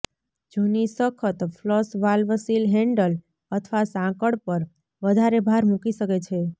જૂની સખત flush valve seal handle અથવા સાંકળ પર વધારે ભાર મૂકી શકે છે